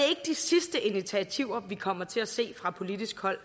de sidste initiativer vi kommer til at se fra politisk hold